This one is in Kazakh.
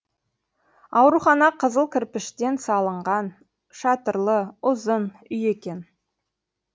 аурухана қызыл кірпіштен салынған шатырлы ұзын үй екен